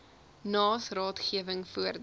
naas raadgewing voordat